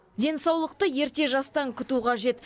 денсаулықты ерте жастан күту қажет